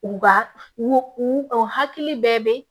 U ka u u u u hakili bɛ